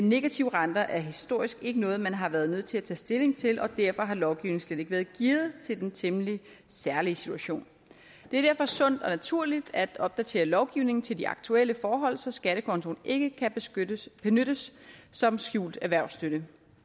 negative renter er historisk ikke noget man har været nødt til at tage stilling til og derfor har lovgivningen slet ikke været gearet til den temmelig særlige situation det er derfor sundt og naturligt at opdatere lovgivningen til de aktuelle forhold så skattekontoen ikke kan benyttes som skjult erhvervsstøtte